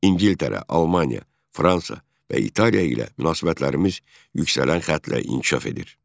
İngiltərə, Almaniya, Fransa və İtaliya ilə münasibətlərimiz yüksələn xətlə inkişaf edir.